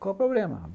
Qual o problema?